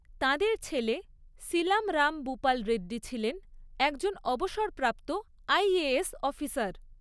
তাঁদের ছেলে সীলাম রাম বুপাল রেড্ডি ছিলেন একজন অবসরপ্রাপ্ত আইএএস অফিসার।